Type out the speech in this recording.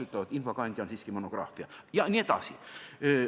Öeldakse, et infokandja on siiski monograafia, jne.